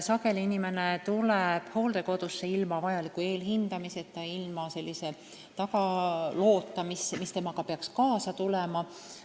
Sageli tuleb inimene hooldekodusse ilma vajaliku eelhindamiseta ja taustaloota, mis peaks temaga kaasas olema.